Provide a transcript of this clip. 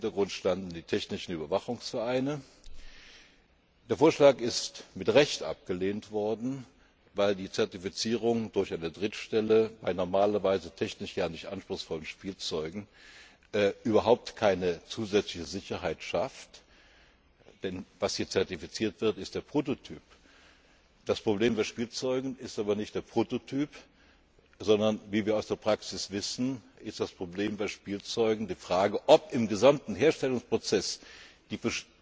Im Hintergrund standen die Technischen Überwachungsvereine. Der Vorschlag ist mit Recht abgelehnt worden, weil die Zertifizierung durch eine Drittstelle bei normalerweise technisch ja nicht anspruchsvollem Spielzeugen überhaupt keine zusätzliche Sicherheit schafft, denn was hier zertifiziert wird, ist der Prototyp. Das Problem bei Spielzeugen ist aber nicht der Prototyp, sondern wie wir aus der Praxis wissen, ist das Problem bei Spielzeugen die Frage, ob im gesamten Herstellungsprozess